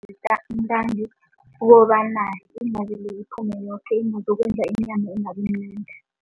Ntangi ukobana iphume yoke ingazokwenza inyama ingabimnandi.